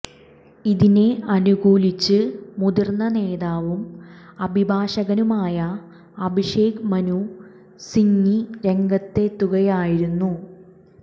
ഇതിനെ അനുകൂലിച്ച് മുതിർന്ന നേതാവും അഭിഭാഷകനുമായ അഭിഷേക് മനു സിങ്വി രംഗത്തെത്തുകയായിരുന്നു